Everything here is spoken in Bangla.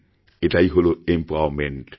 এটাই হল এমপাওয়ারমেন্ট